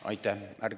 Aitäh!